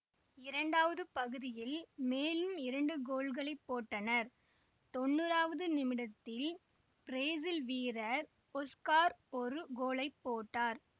இரண்டாவது பகுதியில் மேலும் இரண்டு கோல்களைப் போட்டனர் தொன்னூறாவது நிமிடத்தில் பிரேசில் வீரர் ஒஸ்கார் ஒரு கோலை போட்டார்